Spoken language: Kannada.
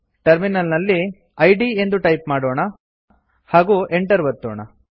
ಟರ್ಮಿನಲ್ ನಲ್ಲಿ ಇದ್ ಎಂದು ಟೈಪ್ ಮಾಡೋಣ160 ಹಾಗೂ enter ಒತ್ತೋಣ